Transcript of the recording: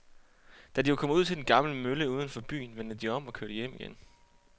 Da de var kommet ud til den gamle mølle uden for byen, vendte de om og kørte hjem igen.